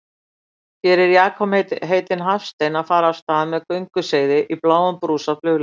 Hér er Jakob heitinn Hafstein að fara af stað með gönguseiði í bláum brúsa flugleiðis.